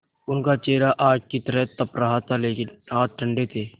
उनका चेहरा आग की तरह तप रहा था लेकिन हाथ ठंडे थे